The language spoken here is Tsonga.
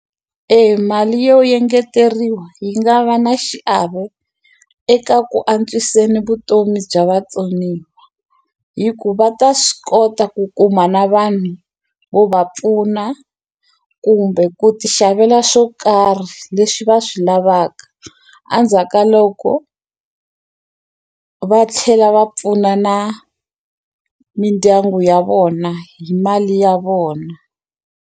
E mali yo yengeteriwa yi nga va na xiave eka ku antswiseni vutomi bya vatsoniwa hi ku va ta swi kota ku kuma na vanhu vo va pfuna kumbe ku ti xavela swo karhi leswi va swi lavaka andzhaka loko va tlhela va pfuna na mindyangu ya vona hi mali ya vona.